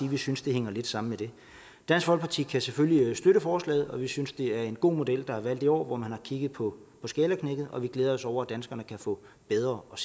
vi synes det hænger lidt sammen med det dansk folkeparti kan selvfølgelig støtte forslaget og vi synes det er en god model der er valgt i år hvor man har kigget på skalaknækket og vi glæder os over at danskerne kan få bedre og